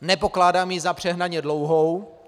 Nepokládám ji za přehnaně dlouhou.